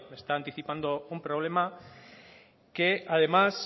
está anticipando un problema que además